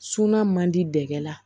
Sunan man di dɛgɛ la